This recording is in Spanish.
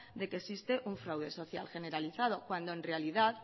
de que existe un fraude social generalizado cuando en realidad